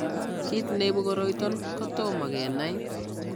Kiit neibu koroiton kotomo kenai